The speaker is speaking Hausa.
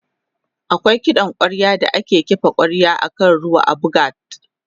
akwai kiɗan kwarya da ake kifa kwarya akan ruwa a buga t